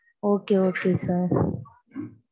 okay, okay, sir.